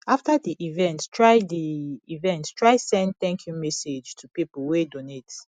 after di event try di event try send thank you message to pipo wey donate